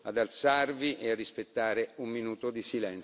ad alzarvi e rispettare un minuto di